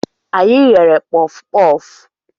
Anyị ghere pufupufu